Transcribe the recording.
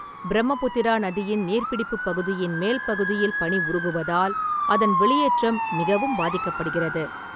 பிரம்மபுத்திரா நதியின் நீர்ப்பிடிப்புப் பகுதியின் மேல் பகுதியில் பனி உருகுவதால் அதன் வெளியேற்றம் மிகவும் பாதிக்கப்படுகிறது.